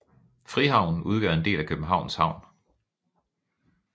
Frihavnen udgør en del af Københavns Havn